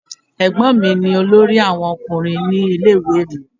Ẹ̀gbọ́n mi ni olórí àwọn Ọkùnrin ní ilé ìwé mi.